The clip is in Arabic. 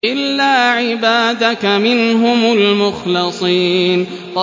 إِلَّا عِبَادَكَ مِنْهُمُ الْمُخْلَصِينَ